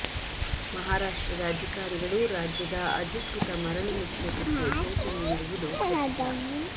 ಮಹಾರಾಷ್ಟ್ರದ ಅಧಿಕಾರಿಗಳು ರಾಜ್ಯದ ಅಧಿಕೃತ ಮರಳು ನಿಕ್ಷೇಪಕ್ಕೆ ಭೇಟಿ ನೀಡಿರುವುದು ಖಚಿತ